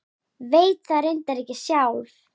Veit það reyndar ekki sjálf.